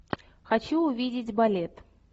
хочу увидеть балет